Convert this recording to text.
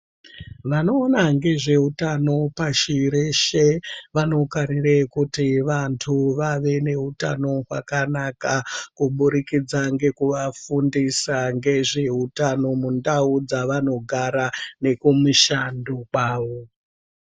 Vanoona ngezvehutano pashi reshe vanokarire kuti vantu vave nehutano hwakanaka. Kubudikidza ngekuvafundisa ngezvehutano mundau dzavanogara nekumishando kwavo.